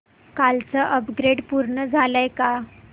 कालचं अपग्रेड पूर्ण झालंय का